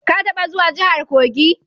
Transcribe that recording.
Ka taba zuwa jahar Kogi?